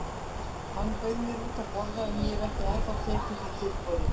Hann bauð mér út að borða en ég hef ekki ennþá tekið því tilboð.